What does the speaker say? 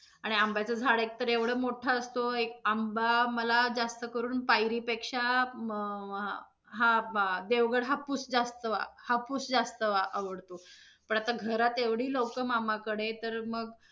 आणि आंब्याच झाड एकतर एवढा मोठा असतो, एक आंबा मला जास्त करून पायरी पेक्षा म्~ हा देवगड हापूस जास्त, हापूस जास्त आवडतो. पण आता घरात एवढी लोक मामाकडे, तर मग